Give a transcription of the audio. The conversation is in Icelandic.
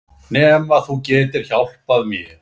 Nema þú getir hjálpað mér